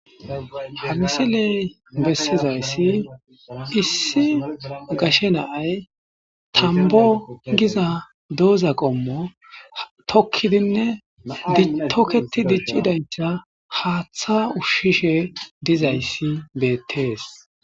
Ha misiley besizay issi gashe na'ayi tambbo giza doza qoommo tokidinne toketi dicidayssa haaththa uushishe dizayssa beses